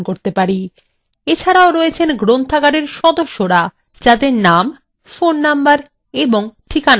এছাড়াও রয়েছেন গ্রন্থাগারের সদস্যরা যাদের names phone নম্বর ও ঠিকানা আছে